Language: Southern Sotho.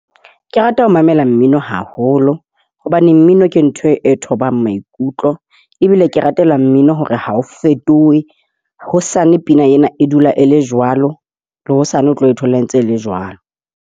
Ke rata ho mamela mmino haholo hobane mmino ke ntho e thobang maikutlo, ebile ke ratela mmino hore ha o fetohe. Hosane pina ena e dula e le jwalo. Le hosane o tlo e thola e ntse e le jwalo.